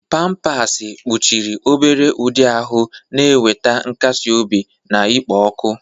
Pampasi kpuchiri obere ụdị ahụ, na-enweta nkasi obi na ikpo ọkụ.